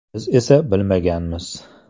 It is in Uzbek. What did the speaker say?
Biz esa bilmaganmiz.